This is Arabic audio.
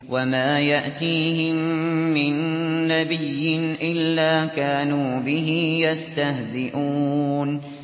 وَمَا يَأْتِيهِم مِّن نَّبِيٍّ إِلَّا كَانُوا بِهِ يَسْتَهْزِئُونَ